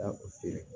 Taa u feere